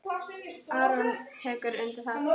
Aron tekur undir það.